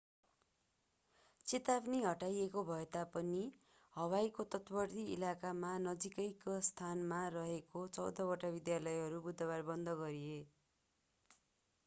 चेतावनी हटाइएको भएता पनि हवाईको तटवर्ती इलाकामा वा नजिकैका स्थानमा रहेका चौधवटा विद्यालयहरू बुधवार बन्द गरिए